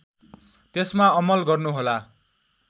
त्यसमा अमल गर्नुहोला